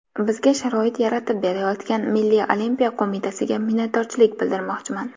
Bizga sharoit yaratib berayotgan Milliy olimpiya qo‘mitasiga minnatdorchilik bildirmoqchiman.